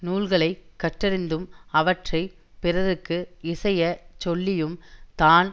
நூல்களை கற்றறிந்தும் அவற்றை பிறர்க்கு இசை சொல்லியும் தான்